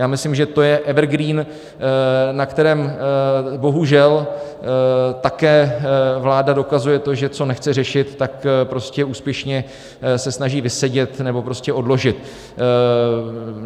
Já myslím, že to je evergreen, na kterém bohužel také vláda dokazuje to, že co nechce řešit, tak prostě úspěšně se snaží vysedět nebo prostě odložit.